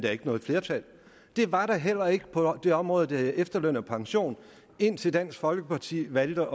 er ikke noget flertal det var der heller ikke på det område der hedder efterløn og pension indtil dansk folkeparti valgte